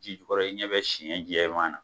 Ji kɔrɔ i ɲɛ bɛ siyɛn jɛman na